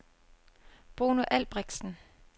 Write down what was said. Bruno Albrechtsen